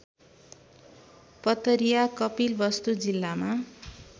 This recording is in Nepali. पतरिया कपिलवस्तु जिल्लामा